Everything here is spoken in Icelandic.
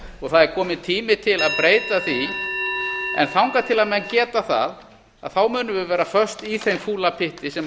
það er kominn tími til að breyta því þangað til menn geta það munum við vera föst í þeim fúla pytti sem